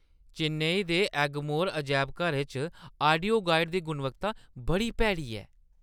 चेन्नई दे एगमोर अजैबघरै च आडियो गाइड दी गुणवत्ता बड़ी भैड़ी ऐ।